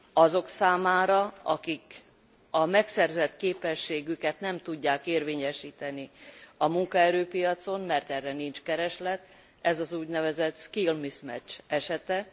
Azok számára, akik a megszerzett képességüket nem tudják érvényesíteni a munkaerőpiacon, mert erre nincs kereslet, ez az úgynevezett skill mismatch esete.